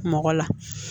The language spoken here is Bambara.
Mɔgɔ la